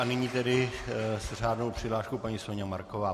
A nyní tedy s řádnou přihláškou paní Soňa Marková.